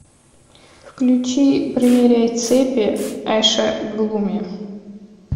включи примеряй цепи эша глуми